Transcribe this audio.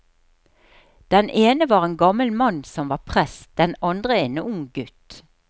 Den ene var en gammel mann som var prest, den andre en ung gutt.